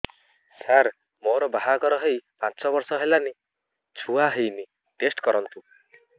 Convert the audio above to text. ସାର ମୋର ବାହାଘର ହେଇ ପାଞ୍ଚ ବର୍ଷ ହେଲାନି ଛୁଆ ହେଇନି ଟେଷ୍ଟ କରନ୍ତୁ